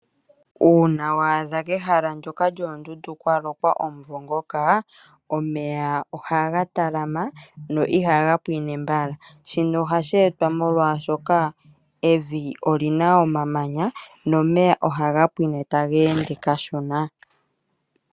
Uuna wa adha kehala ndoka lyoondundu kwa lokwa omvula ndjoka ohaku